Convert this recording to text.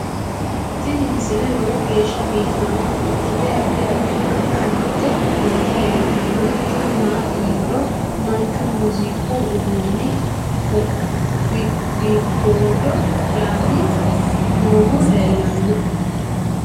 tini misile lowo geeshsha biiffannota ikkite addi addi akata amadde nooti leeltannoe tini maati yiniro manchu muziiqu uduunne fgodo'lanni noohu lelanno